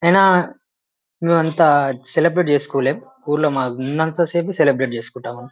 అయినా మేమంతా సెలబ్రేట్ చెస్కోలేమ్. ఊర్లో మాకునంతా సేపు సెలెబ్రేట్ చేసుకుంటాం.